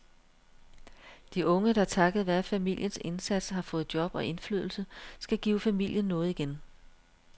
De unge, der takket være familiens indsats har fået job og indflydelse, skal give familien noget igen.